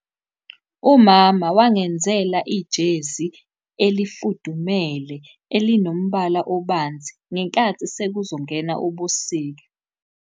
Umama wangenzela ijezi elifudumele elinomubala obanzi ngenkathi sekuzongena ubusika.